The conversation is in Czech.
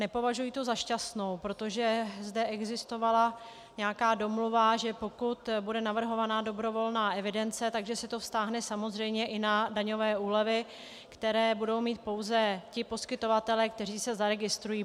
Nepovažuji ji za šťastnou, protože zde existovala nějaká domluva, že pokud bude navrhovaná dobrovolná evidence, že se to vztáhne samozřejmě i na daňové úlevy, které budou mít pouze ti poskytovatelé, kteří se zaregistrují.